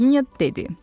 Hersoginya dedi.